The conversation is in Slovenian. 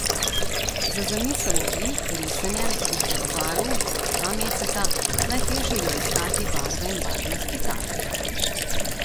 Za zamisel oblik, risanje, izbiro barv kaka dva meseca, najtežje je bilo iskati barve in barvna stikala.